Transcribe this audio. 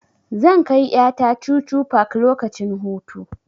Zan kai ƴa ta chuchu park lokacin hutu.